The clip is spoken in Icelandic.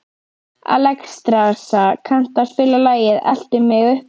Alexstrasa, kanntu að spila lagið „Eltu mig uppi“?